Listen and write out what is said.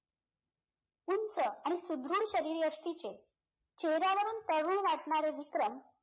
उंच आणि सुदृढ शरीर यश्तीचे चेहऱ्यावरून तरुण वाटणारे विक्रम